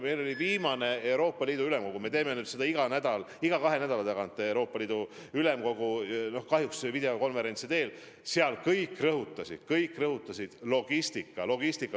Meil oli viimane Euroopa Ülemkogu – me teeme ülemkogu iga kahe nädala tagant kahjuks videokonverentsi teel – ja seal kõik rõhutasid logistikat.